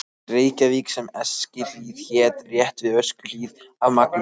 Reykjavík sem Eskihlíð hét, rétt við Öskjuhlíð, af Magnúsi